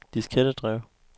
diskettedrev